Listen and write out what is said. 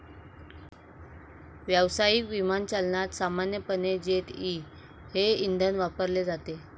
व्यावसायिक विमानचालनात सामान्यपणे जेट ई हे इंधन वापरले जाते.